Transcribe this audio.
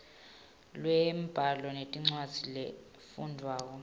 lwembhalo nencwadzi lefundvwako